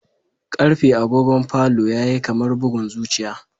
Karfe agogon falo yayi kamar bugun zuciya